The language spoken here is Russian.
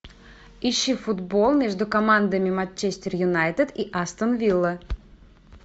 ищи футбол между командами манчестер юнайтед и астон вилла